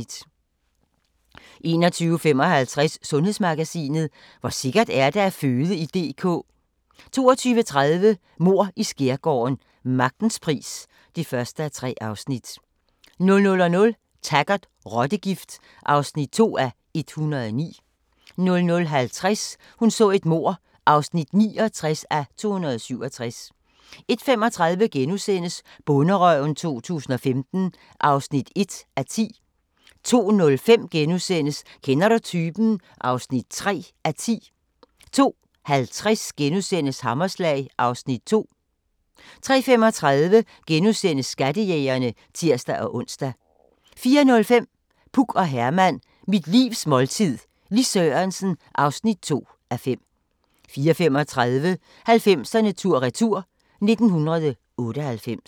21:55: Sundhedsmagasinet: Hvor sikkert er det at føde i DK? 22:30: Mord i Skærgården: Magtens pris (1:3) 00:00: Taggart: Rottegift (2:109) 00:50: Hun så et mord (69:267) 01:35: Bonderøven 2015 (1:10)* 02:05: Kender du typen? (3:10)* 02:50: Hammerslag (Afs. 2)* 03:35: Skattejægerne *(tir-ons) 04:05: Puk og Herman – mit livs måltid - Lis Sørensen (2:5) 04:35: 90'erne tur-retur: 1998